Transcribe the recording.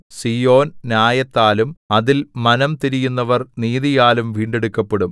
സീയോൻ ന്യായത്താലും അതിൽ മനം തിരിയുന്നവർ നീതിയാലും വീണ്ടെടുക്കപ്പെടും